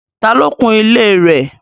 Tà lo kùn ilẹ̀ rẹ̀?